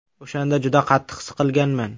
O‘shanda juda qattiq siqilganman.